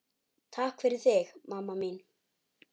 Takk fyrir þig, mamma mín.